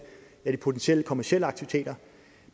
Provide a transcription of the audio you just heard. de potentielle kommercielle aktiviteter